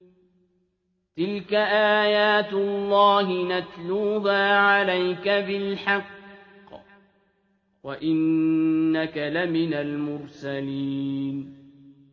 تِلْكَ آيَاتُ اللَّهِ نَتْلُوهَا عَلَيْكَ بِالْحَقِّ ۚ وَإِنَّكَ لَمِنَ الْمُرْسَلِينَ